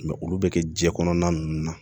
olu bɛ kɛ jɛn kɔnɔna ninnu na